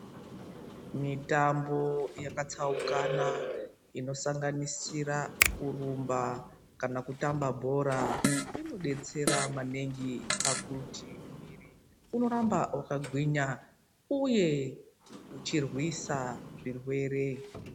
Mitambo yakatsaukana inosanganisira kurumba kana kutamba bhora inodetsera maningi pakuti mwiri unoramba wakagwinya uye uchirwisa zvirwere .